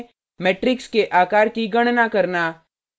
matrix के आकार की गणना करना